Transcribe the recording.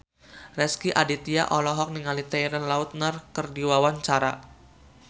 Rezky Aditya olohok ningali Taylor Lautner keur diwawancara